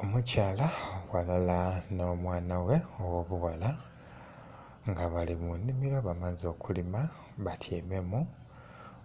Omukyala ghalala n'omwana ghe ogho buwala nga bali munimiro bamaze okulima batyaime mu